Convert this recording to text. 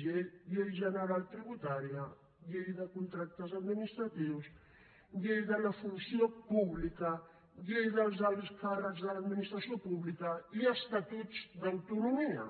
llei general tributària llei de contractes administratius llei de la funció pública llei dels alts càrrecs de l’administració pública i estatuts d’autonomia